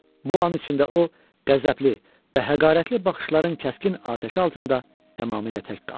Bu an içində o, qəzəbli və həqarətli baxışların kəskin atəşi altında tamamilə tək qaldı.